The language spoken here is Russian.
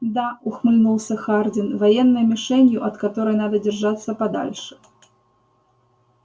да ухмыльнулся хардин военной мишенью от которой надо держаться подальше